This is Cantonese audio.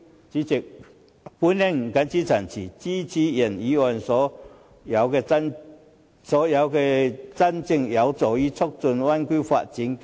主席，我謹此陳辭，支持原議案及所有真正有助於促進灣區發展的修正案。